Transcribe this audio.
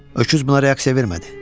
Öküz buna reaksiya vermədi.